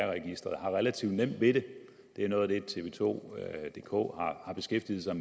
registeret har relativt nemt ved det det er noget af det tv2dk har beskæftiget sig